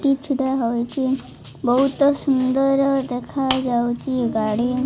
କିଛିଟା ରହିଚି ବହୁତ ସୁନ୍ଦର ଦେଖାଯାଉଚି ଗାଡି।